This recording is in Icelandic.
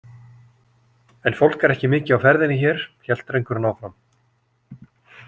En fólk er ekki mikið á ferðinni hér, hélt drengurinn áfram.